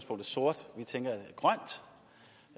sort